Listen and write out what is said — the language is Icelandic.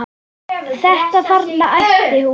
Þetta þarna, æpti hún.